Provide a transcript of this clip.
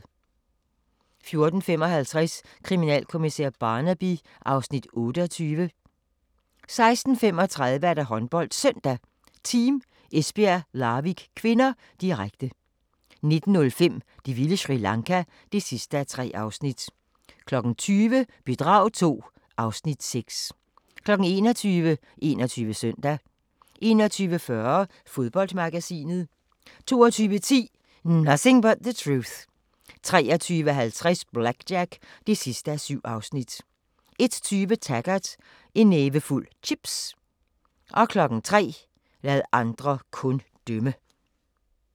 14:55: Kriminalkommissær Barnaby (Afs. 28) 16:35: HåndboldSøndag: Team Esbjerg-Larvik (k), direkte 19:05: Det vilde Sri Lanka (3:3) 20:00: Bedrag II (Afs. 6) 21:00: 21 Søndag 21:40: Fodboldmagasinet 22:10: Nothing but the Truth 23:50: BlackJack (7:7) 01:20: Taggart: En nævefuld chips 03:00: Lad andre kun dømme